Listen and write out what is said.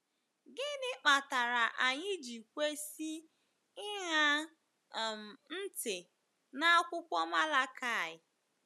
Gịnị kpatara anyị ji kwesị ịṅa um ntị n’akwụkwọ Malakaị?